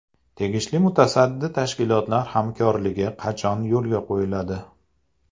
Tegishli mutasaddi tashkilotlar hamkorligi qachon yo‘lga qo‘yiladi?